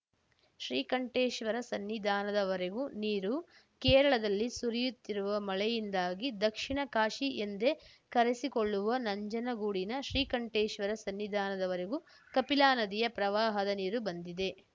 ಶ್ರೀಕಂಠೇಶ್ವರ ಸನ್ನಿಧಾನದವರೆಗೂ ನೀರು ಕೇರಳದಲ್ಲಿ ಸುರಿಯುತ್ತಿರುವ ಮಳೆಯಿಂದಾಗಿ ದಕ್ಷಿಣ ಕಾಶಿ ಎಂದೇ ಕರೆಸಿಕೊಳ್ಳುವ ನಂಜನಗೂಡಿನ ಶ್ರೀಕಂಠೇಶ್ವರ ಸನ್ನಿಧಾನದವರೆಗೂ ಕಪಿಲಾ ನದಿಯ ಪ್ರವಾಹದ ನೀರು ಬಂದಿದೆ